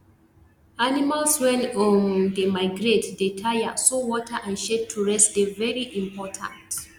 animals wen um dey migrate dey tire so water and shade to rest dey very important